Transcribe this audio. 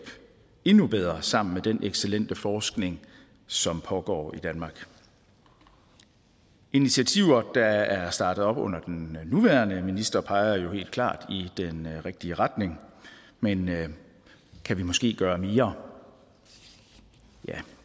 endnu bedre sammen med den excellente forskning som pågår i danmark initiativer der er startet op under den nuværende minister peger jo helt klart i den rigtige retning men kan vi måske gøre mere ja